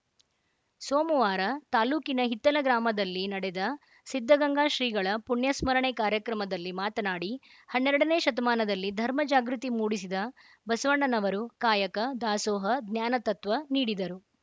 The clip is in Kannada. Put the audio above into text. ಸೋಮವಾರ ತಾಲೂಕಿನ ಹಿತ್ತಲ ಗ್ರಾಮದಲ್ಲಿ ನಡೆದ ಸಿದ್ಧಗಂಗಾ ಶ್ರೀಗಳ ಪುಣ್ಯಸ್ಮರಣೆ ಕಾರ‍್ಯಕ್ರಮದಲ್ಲಿ ಮಾತನಾಡಿ ಹನ್ನೆರಡನೇ ಶತಮಾನದಲ್ಲಿ ಧರ್ಮಜಾಗೃತಿ ಮೂಡಿಸಿದ ಬಸವಣ್ಣನವರು ಕಾಯಕ ದಾಸೋಹ ಜ್ಞಾನ ತತ್ವ ನೀಡಿದರು